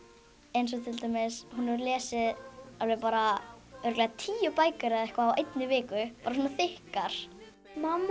eins og til dæmis hún lesið alveg bara örugglega tíu bækur eða eitthvað á einni viku bara svona þykkar mamma